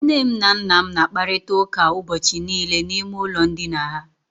Nne m na nna m na-akparịta ụka ụbọchị niile n'ime ụlọ ndina ha.